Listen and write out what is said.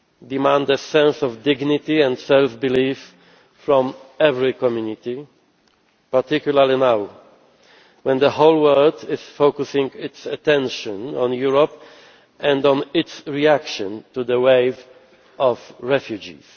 demand a sense of dignity and self belief from every community, particularly now, when the whole world is focusing its attention on Europe and on its reaction to the wave of refugees.